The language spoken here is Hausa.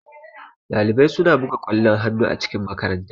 Ɗalibai suna buga kwallon hannu a cikin makaranta.